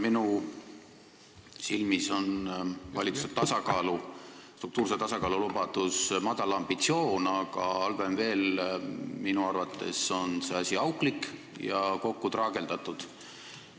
Minu silmis on valitsuse struktuurse tasakaalu lubadus madal ambitsioon, halvem veel, minu arvates on see asi auklik ja kokku traageldatud.